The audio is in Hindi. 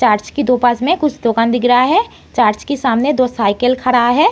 चर्च के पास में कुछ दुकान दिख रहा है। चर्च के सामने दो साइकिल खड़ा हैं।